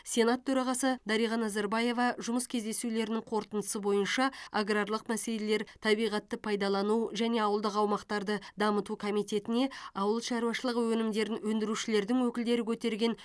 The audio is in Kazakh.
сенат төрағасы дариға назарбаева жұмыс кездесулерінің қорытындысы бойынша аграрлық мәселелер табиғатты пайдалану және ауылдық аумақтарды дамыту комитетіне ауыл шаруашылығы өнімдерін өндірушілердің өкілдері көтерген